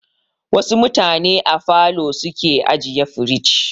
Wasu mutane a falo su ke ajiye firij.